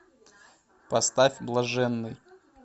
поставь блаженный